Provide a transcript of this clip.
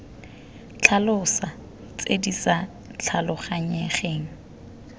tlhalosa tse di sa tlhaloganyegang